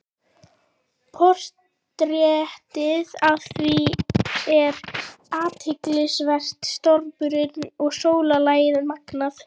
Portrettið af þér er athyglisvert- stormurinn og sólarlagið magnað.